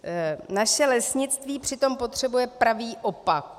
Naše lesnictví přitom potřebuje pravý opak.